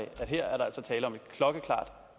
at her er der altså tale om et klokkeklart